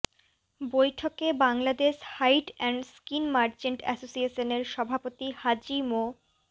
বৈঠকে Bangladesh hide and skin merchant অ্যাসোসিয়েশনের সভাপতি হাজি মো